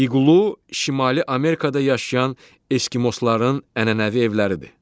İqlo Şimali Amerikada yaşayan eskimosların ənənəvi evləridir.